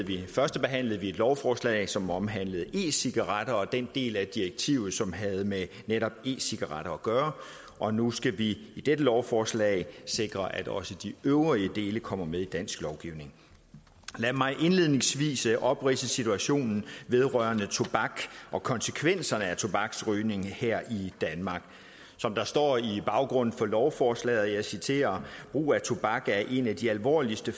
førstebehandlede vi et lovforslag som omhandlede e cigaretter og den del af direktivet som havde med netop e cigaretter at gøre og nu skal vi i dette lovforslag sikre at også de øvrige dele kommer med i dansk lovgivning lad mig indledningsvis opridse situationen vedrørende tobak og konsekvenserne af tobaksrygning her i danmark der står i baggrunden for lovforslaget og jeg citerer brug af tobak er én af de alvorligste